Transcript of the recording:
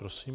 Prosím.